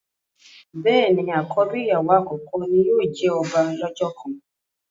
béèni àkọ́bí ìyàwó àkọ́kọ́ tí yóò jẹ ọba lọ́jọ́ kan.